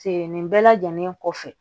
Sen nin bɛɛ lajɛlen kɔfɛ